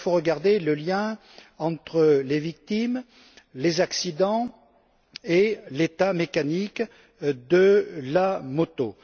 Alors il faut regarder le lien entre les victimes, les accidents et l'état mécanique de la moto.